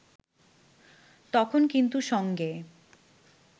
তখন কিন্তু সঙ্গে